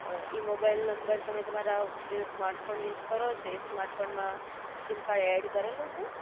અ ઈ mobile number તમે તમારા જે સ્માર્ટફોન યુઝ કરો છો એ સ્માર્ટફોન, સીમકાર્ડ એડ કરેલું છે?